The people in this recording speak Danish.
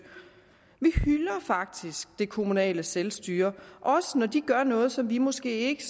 vi hylder faktisk det kommunale selvstyre også når de gør noget som vi måske ikke